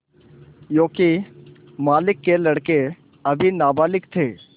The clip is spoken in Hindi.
योंकि मालिक के लड़के अभी नाबालिग थे